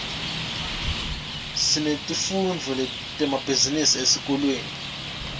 sinetifundvo temabhizinisi esikolweni